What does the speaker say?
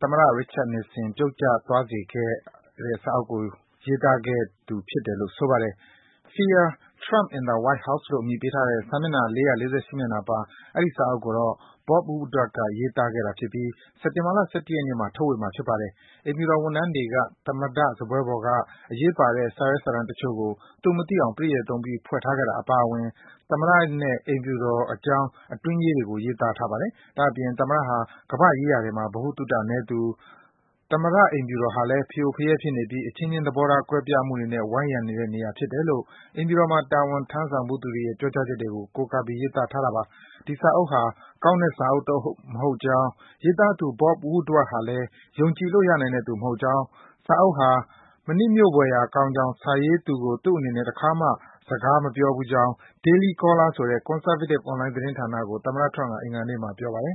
သမ္မတ Richard Nixon ပြုတ်ကျစေခဲ့တဲ့ Watergate ဆိုတဲ့ စာအုပ်ကို ရေးသားခဲ့သူလည်း ဖြစ်ပါတယ်။ Fear: Trump in the White House - လို့ အမည်ပေးထားတဲ့ စာမျက်နှာ ၄၄၈ မျက်နှာပါ အဲဒီ အစာအုပ်ကိုတော့ Bob Woodward က ရေးသားခဲ့တာဖြစ်ပြီး စက်တင်ဘာလ ၁၁ ရက်နေ့မှာ ထုတ်ဝေမှာ ဖြစ်ပါတယ်။ အိမ်ဖြူတော် ဝန်ထမ်းတွေက သမ္မတစားပွဲပေါ်က အရေးပါတဲ့ စာရွက်၊ စာတမ်းတချို့ကို သူမသိအောင် ယူသွားခဲ့ကြတာ အပါအဝင် သမ္မတနဲ့ အိမ်ဖြူတော်အကြောင်း အတွင်းရေးတွေကို ရေးသားထားပါတယ်။ ဒါ့အပြင် သမ္မတဟာ ကမ္ဘာ့ရေးရာတွေမှာ ဗဟုသုတနည်းသူ၊ သမ္မတ အိမ်ဖြူတော်ဟာလည်း ဖရိုဖရဲဖြစ်နေပြီး အချင်းချင်း သဘောထားကွဲပြားမှုတွေနဲ့ ဝိုင်းရံနေတဲ့ နေရာဖြစ်တယ်လို့ အိမ်ဖြူတော်မှာ တာဝန်ထမ်းဆောင်ဘူးသူတွေရဲ့ ပြောကြားချက်တွေကို ကိုးကားပြီး ရေးသားထားပါတယ်။ ဒီစာအုပ်ဟာ ကောင်းတဲ့စာအုပ်တအုပ်မဟုတ်ကြောင်း၊ စာရေးသူ Bob Woodward ဟာလည်း ယုံကြည်လို့ ရနိုင်တဲ့သူမဟုတ်ကြောင်း၊ စာအုပ်ဟာ မနှစ်မြို့ဖွယ်ရာ ကောင်းကြောင်း၊ စာရေးသူကို သူ့အနေနဲ့ တခါမှ စကားမပြောဘူးကြောင်း Daily Caller ဆိုတဲ့ Conservative အွန်လိုင်း သတင်းဌာနကို သမ္မတ Trump က အင်္ဂါနေ့မှာ ပြောပါတယ်